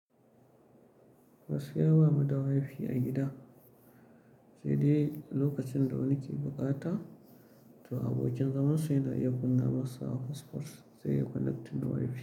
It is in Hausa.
Gaskiya bamu da wifi a gida, sai dai lokacin da wani ke bukata to abokin zamansa yana iya buga masa hotspost zai iya connecting da wifi.